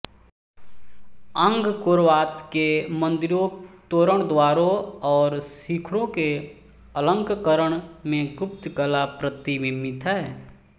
Angkor Wat के मन्दिरों तोरणद्वारों और शिखरों के अलंकरण में गुप्त कला प्रतिबिम्बित है